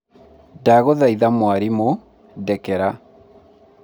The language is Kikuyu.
ndagũthaitha mwarimũ, ndekera